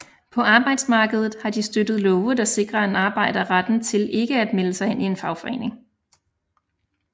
På arbejdsmarkedet har de støttet love der sikrer en arbejder retten til ikke at melde sig ind i en fagforening